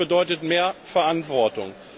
Das bedeutet mehr Verantwortung.